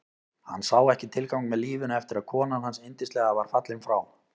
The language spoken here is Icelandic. Hann sá ekki tilgang með lífinu eftir að konan hans yndislega var fallin frá.